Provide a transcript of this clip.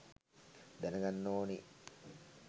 දැනගන්න ඕනේ